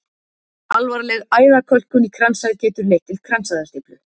alvarleg æðakölkun í kransæð getur leitt til kransæðastíflu